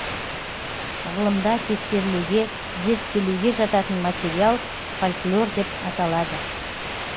ғылымда тексерілуге зерттелуге жататын материал фольклор деп аталады